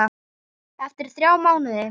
Eftir þrjá mánuði?